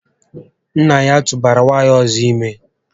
Nnà ya tụbara nwaanyị ọzọ ime